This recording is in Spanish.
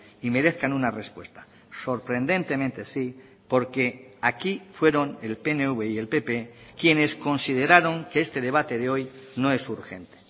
y merezcan una respuesta sorprendentemente sí porque aquí fueron el pnv y el pp quienes consideraron que este debate de hoy no es urgente